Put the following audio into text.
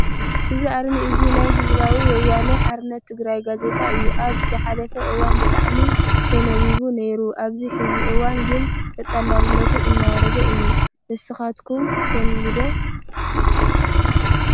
እዚ ኣርማ እዚ ናይ ህዝባዊ ወያነ ሓርነት ትግራይ ጋዜጣ እዩ ። ኣብ ዝሓለፈ እዋን ብጣዕሚ ተነባቢ ነይሩ ኣብዚ ሕዚ እዋን ግን ተጠላቢነቱ እናወረደ እዩ ። ንስካትኩም ተንቡቡ ዶ ?